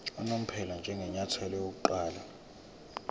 unomphela njengenyathelo lokuqala